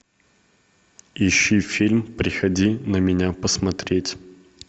ищи фильм приходи на меня посмотреть